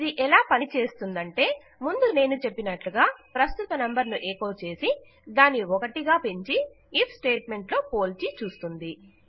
ఇది ఎలా పని చేస్తుందంటే ముందు నేను చెప్పినట్లుగా ప్రస్తుత నంబరును ఎకొ చేసి దానిని 1గా పెంచి ఐఎఫ్ స్టేట్ మెంట్ లో పోల్చి చూస్తుంది